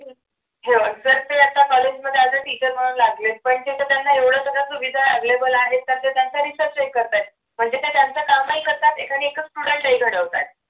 हे बघ जर त्या आता कॉलेजमध्ये as a teacher म्हणून लागले पण तिथे त्यांना एवढ्या सगळ्या सुविधा available आहेत का तर त्यांचा research check करतात म्हणजे त्यांचं कामही करतात एखादे student घडवतात